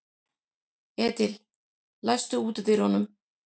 Edil, læstu útidyrunum.